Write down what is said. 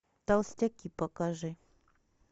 толстяки покажи